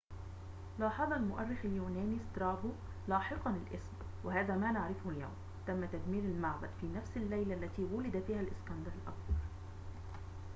لاحظ المؤرخ اليوناني سترابو لاحقاً الاسم وهذا ما نعرفه اليوم تم تدمير المعبد في نفس الليلة التي ولد فيها الإسكندر الأكبر